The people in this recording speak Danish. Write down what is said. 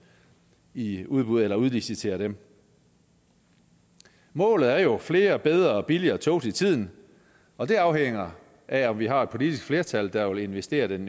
i udbud eller udlicitere dem målet er jo flere og bedre og billigere tog til tiden og det afhænger af om vi har et politisk flertal der vil investere den